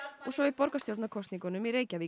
og svo í borgarstjórnarkosningum í Reykjavík